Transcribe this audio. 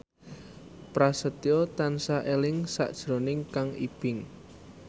Prasetyo tansah eling sakjroning Kang Ibing